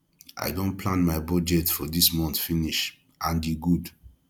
i don plan my budget for dis month finish and e good